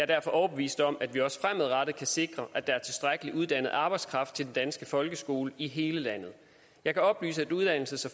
derfor overbevist om at vi også fremadrettet kan sikre at der er tilstrækkelig uddannet arbejdskraft til den danske folkeskole i hele landet jeg kan oplyse at uddannelses